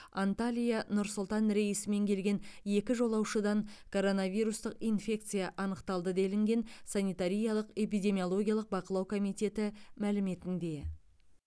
анталия нұр сұлтан рейсімен келген екі жолаушыдан коронавирустық инфекция анықталды делінген санитариялық эпидемиологиялық бақылау комитеті мәліметінде